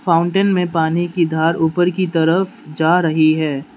Fountain मैं पानी कि धार ऊपर कि तरफ जा रही है।